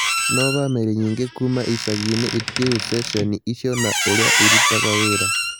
No bamĩrĩ nyingĩ kuuma icagi-inĩ itiũĩ cecheni icio na ũrĩa irutaga wĩra